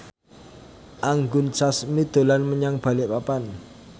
Anggun Sasmi dolan menyang Balikpapan